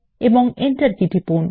এবং enter key টিপুন